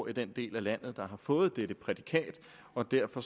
i den del af landet der har fået dette prædikat og derfor